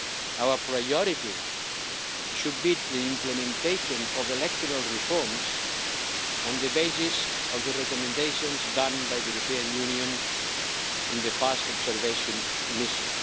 Our priority should be the implementation of electoral reforms on the basis of the recommendations made by the European Union in the last observation mission.